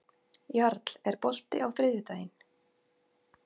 Jarl, er bolti á þriðjudaginn?